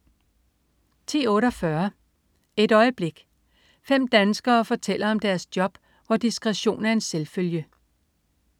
10.48 Et øjeblik. Fem danskere fortæller om deres job, hvor "diskretion er en selvfølge"